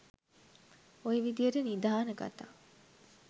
ඔය විදියට නිධාන කතා